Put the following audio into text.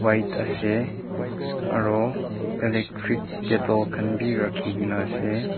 light ase aru electric kettle khan bi rakhi kene ase.